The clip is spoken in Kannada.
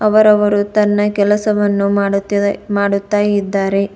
ಅವರವರು ತನ್ನ ಕೆಲಸವನ್ನು ಮಾಡುತ್ತಿದೆ ಮಾಡುತ್ತಾ ಇದ್ದಾರೆ.